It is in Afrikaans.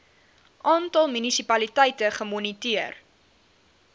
aantal munisipaliteite gemoniteer